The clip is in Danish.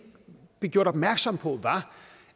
blev gjort opmærksom på var